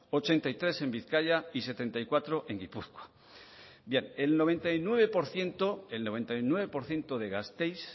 ochenta y tres en bizkaia y setenta y cuatro en gipuzkoa bien el noventa y nueve por ciento de gasteiz